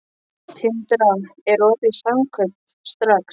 Tindra, er opið í Samkaup Strax?